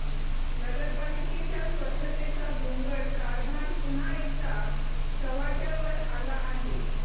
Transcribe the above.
नगरपालिकेच्या स्वच्छतेचा भोंगळ कारभार पुन्हा एकदा चव्हाट्यावर आला आहे